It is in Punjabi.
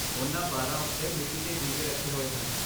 ਉਨ੍ਹਾਂ ਬਾਰਾਂ ਉੱਤੇ ਮਿੱਟੀ ਦੇ ਦੀਵੇ ਰੱਖੇ ਹੋਏ ਹਨ।